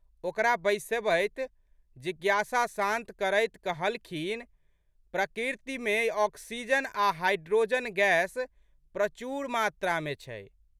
ओकरा बैसबैत जिज्ञासा शांत करैत कहलखिन, प्रकृतिमे ऑक्सीजन आ' हाइड्रोजन गैस प्रचुर मात्रामे छै।